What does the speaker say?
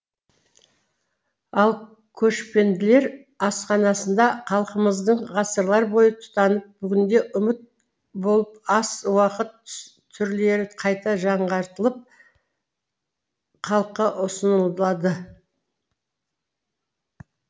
ал көшпенділер асханасында халқымыздың ғасырлар бойы тұтынып бүгінде ұмыт болған ас ауқат түрлері қайта жаңғыртылып халыққа ұсынылады